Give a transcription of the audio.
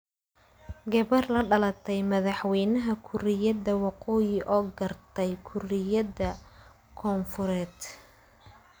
Gabar la dhalatay madaxweynaha Kuuriyada Waqooyi oo gaartay Kuuriyada Koonfureed.